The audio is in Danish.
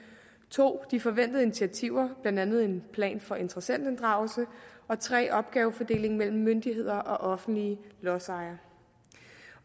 2 de forventede initiativer blandt andet en plan for interessentinddragelse og 3 opgavefordelingen mellem myndigheder og offentlige lodsejere